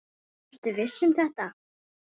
Ertu viss um þetta?